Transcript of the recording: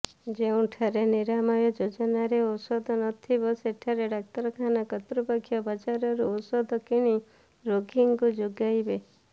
ଯେଉଁଠାରେ ନିରାମୟ ଯୋଜନାରେ ଔଷଧ ନଥିବ ସେଠାରେ ଡାକ୍ତରଖାନା କର୍ତୃପକ୍ଷ ବାଜରରୁ ଔଷଧ କିଣି ରୋଗୀଙ୍କୁ ଯୋଗାଇବେ